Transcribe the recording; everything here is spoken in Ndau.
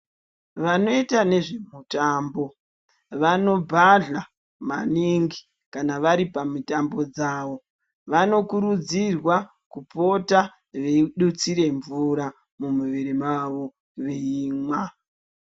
Vanoita nezve mitambo vanobhadhla maningi kana vari pamitambo dzavo vanokurudzirwa kupota veitutsira mvura mumwiri mavo veimwa.